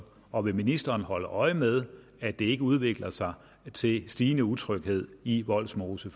og vil ministeren holde øje med at det ikke udvikler sig til stigende utryghed i vollsmose